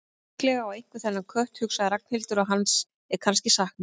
Líklega á einhver þennan kött, hugsaði Ragnhildur, og hans er kannski saknað.